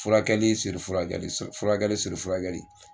Furakɛli furakɛli furakɛli furakɛli.